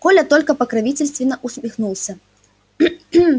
коля только покровительственно усмехнулся